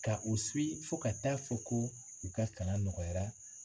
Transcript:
Ka u fo ka ta'a fɔ ko u ka kalan nɔgɔyara